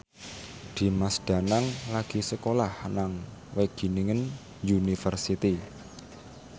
Dimas Danang lagi sekolah nang Wageningen University